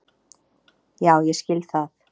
Já ég skil það.